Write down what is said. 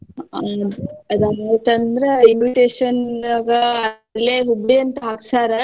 ಹ್ಮ್ ರೀ ಅದೊಂದ ಆಯ್ತ ಅಂದ್ರ invitation ಗ ಅಲ್ಲೆ Hubli ಅಂತ್ ಹಾಕ್ಸ್ಯಾರ.